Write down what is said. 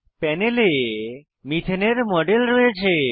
প্যানেলে methane methane এর model রয়েছে